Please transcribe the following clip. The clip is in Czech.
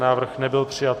Návrh nebyl přijat.